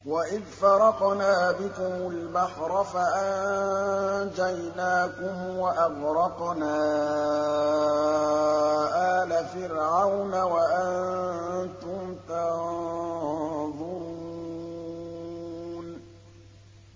وَإِذْ فَرَقْنَا بِكُمُ الْبَحْرَ فَأَنجَيْنَاكُمْ وَأَغْرَقْنَا آلَ فِرْعَوْنَ وَأَنتُمْ تَنظُرُونَ